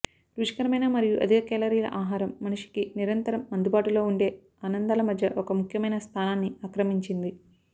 రుచికరమైన మరియు అధిక కేలరీల ఆహారం మనిషికి నిరంతరం అందుబాటులో ఉండే ఆనందాల మధ్య ఒక ముఖ్యమైన స్థానాన్ని ఆక్రమించింది